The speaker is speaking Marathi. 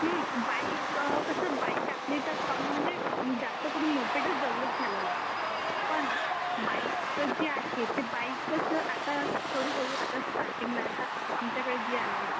हममम बाईक कसं बाईक आपल्या येथे कम मध्ये जास्त करून मोपेडस डेव्हलप झालेला आहे. पण बाईक जे आहे ते बाईक कसा आता हळूहळू आता स्टार्टिंग ला आता आमच्याकडे जी आहे